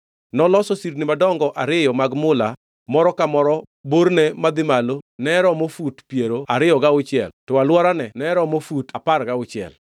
Noloso sirni madongo ariyo mag mula moro ka moro borne madhi malo romo fut piero ariyo gauchiel to alworane romo fut apar gauchiel.